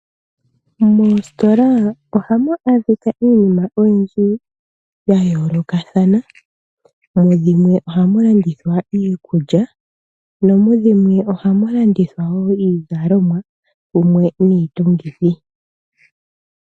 Moositola ohamu adhika iinima oyindji ya yoolokathana. Mu dhimwe ohamu lanithwa iikulya nomu dhimwe ohamu landithwa wo iizalomwa mumwe niitungithi.